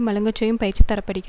மழுங்கச்செய்யும் பயிற்சி தரப்படுகி